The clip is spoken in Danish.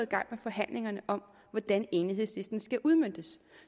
i gang med forhandlingerne om hvordan enighedslisten skal udmøntes